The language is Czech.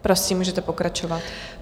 Prosím, můžete pokračovat.